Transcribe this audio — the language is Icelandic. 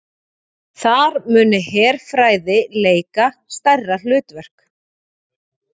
Þar muni herfræði leika stærra hlutverk